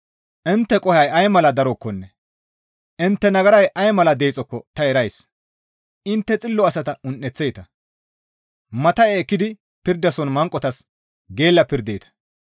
Intte qohoy ay mala darokkonne intte nagaray ay mala deexokko ta erays; intte xillo asata un7eththeeta; matta7e ekkidi pirdason manqotas geella pirdeeta.